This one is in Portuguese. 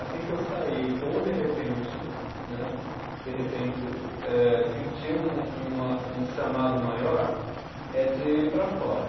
Assim que eu sair, ou de repente né, de repente eh sentir um, uma, um chamado maior, é de ir para fora.